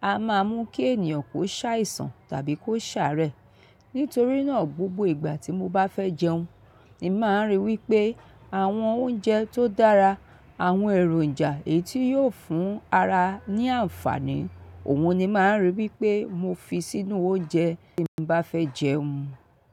a máa mú kí ènìyàn kó ṣàìsàn tàbí kó ṣàárẹ̀. Nítorí náà, gbogbo ìgbà tí mo bá fẹ́ jẹun, ni máa ń ríi wí pé àwọn oúnjẹ tó dára, àwọn èròǹjà èyí tí yóò fún ara ní àǹfààní, òun ni máa ń ríi wí pé mo fi sínú oúnjẹ tí mo bá fẹ́ jẹun.